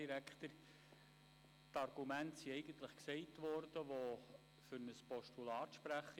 Die Argumente, die für ein Postulat sprechen, sind bereits erwähnt worden.